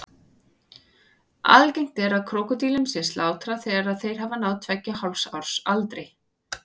Algengt er að krókódílum sé slátrað þegar þeir hafa náð tveggja og hálfs árs aldri.